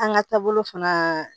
An ka taabolo fana